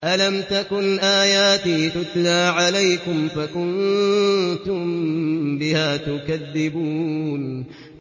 أَلَمْ تَكُنْ آيَاتِي تُتْلَىٰ عَلَيْكُمْ فَكُنتُم بِهَا تُكَذِّبُونَ